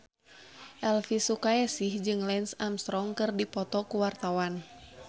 Elvi Sukaesih jeung Lance Armstrong keur dipoto ku wartawan